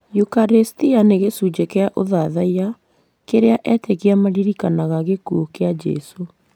yukarĩstia nĩ gĩcunjĩ kĩa ũthathaiya kĩrĩa etĩkia maririkanaga gĩkuũ kĩa Jesũ.